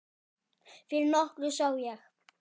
Fyrir nokkru sá ég